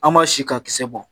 An b'a sin ka kisɛ bɔ.